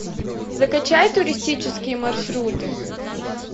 закачай туристические маршруты